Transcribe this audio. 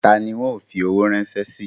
Ta ni ń óò fi owó ránṣẹ́ sí?